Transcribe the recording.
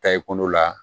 Ta i kundo la